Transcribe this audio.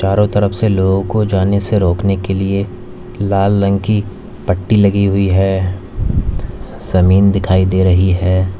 चारों तरफ से लोगों को जाने से रोकने के लिए लाल रंग की पट्टी लगी हुई है जमीन दिखाई दे रही है।